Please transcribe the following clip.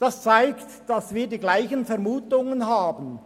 Das zeigt, dass wir dieselben Vermutungen haben.